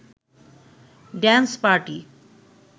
dance party